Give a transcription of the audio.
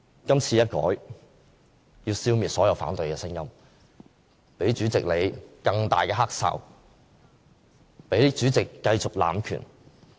今次修改，是要消滅所有反對聲音，給主席你更大的"黑哨"，給主席繼續濫權。